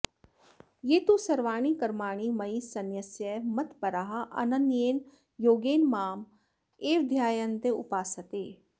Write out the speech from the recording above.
ये तु सर्वाणि कर्माणि मयि सन्न्यस्य मत्पराः अनन्येन योगेन माम् एव ध्यायन्तः उपासते